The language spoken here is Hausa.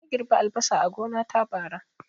Na girɓi albasa a gona ta, bara